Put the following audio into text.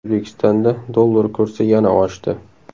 O‘zbekistonda dollar kursi yana oshdi.